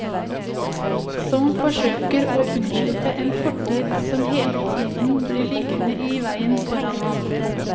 Som forsøker å unnslippe en fortid som hele tiden blir liggende i veien foran ham.